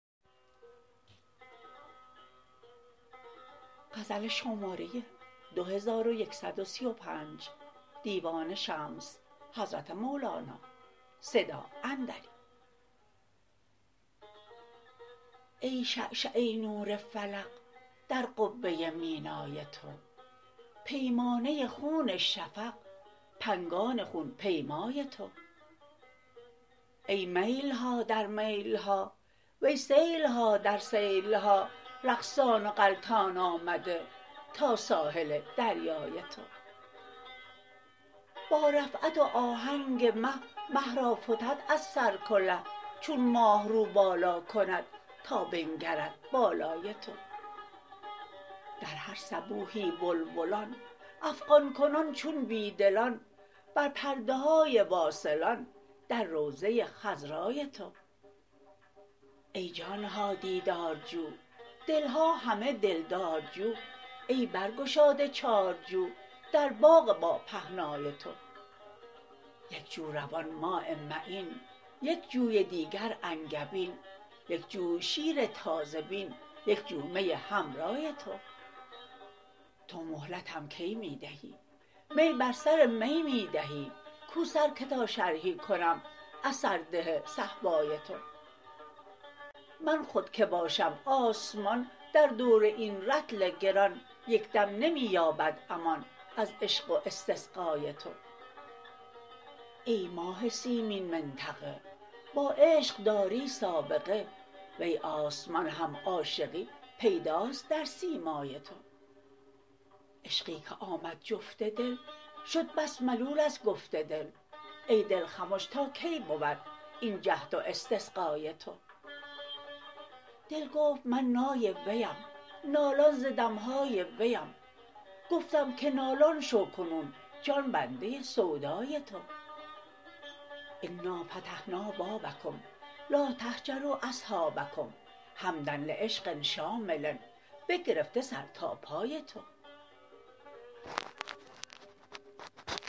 ای شعشعه نور فلق در قبه مینای تو پیمانه خون شفق پنگان خون پیمای تو ای میل ها در میل ها وی سیل ها در سیل ها رقصان و غلتان آمده تا ساحل دریای تو با رفعت و آهنگ مه مه را فتد از سر کله چون ماه رو بالا کند تا بنگرد بالای تو در هر صبوحی بلبلان افغان کنان چون بی دلان بر پرده های واصلان در روضه خضرای تو ای جان ها دیدارجو دل ها همه دلدارجو ای برگشاده چارجو در باغ باپهنای تو یک جو روان ماء معین یک جوی دیگر انگبین یک جوی شیر تازه بین یک جو می حمرای تو تو مهلتم کی می دهی می بر سر می می دهی کو سر که تا شرحی کنم از سرده صهبای تو من خود کی باشم آسمان در دور این رطل گران یک دم نمی یابد امان از عشق و استسقای تو ای ماه سیمین منطقه با عشق داری سابقه وی آسمان هم عاشقی پیداست در سیمای تو عشقی که آمد جفت دل شد بس ملول از گفت دل ای دل خمش تا کی بود این جهد و استقصای تو دل گفت من نای ویم نالان ز دم های ویم گفتم که نالان شو کنون جان بنده سودای تو انا فتحنا بابکم لا تهجروا اصحابکم حمدا لعشق شامل بگرفته سر تا پای تو